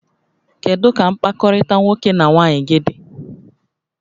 Kedu ka mkpakọrịta nwoke na nwaanyị gị dị?